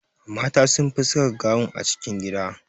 Mata sun fi saka gawun a cikin gida